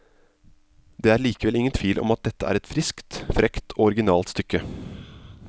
Det er likevel ingen tvil om at dette er et friskt, frekt og originalt stykke.